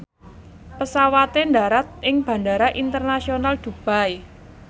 pesawate ndharat ing Bandara Internasional Dubai